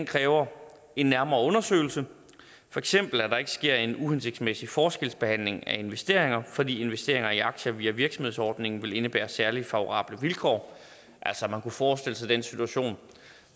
kræver en nærmere undersøgelse for eksempel at der ikke sker en uhensigtsmæssig forskelsbehandling af investeringer fordi investeringer i aktier via virksomhedsordningen vil indebære særlige favorable vilkår man kunne forestille sig den situation